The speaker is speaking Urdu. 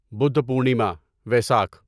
بدھ پورنیما ویساکھ